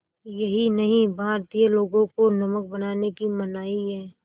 यही नहीं भारतीय लोगों को नमक बनाने की मनाही है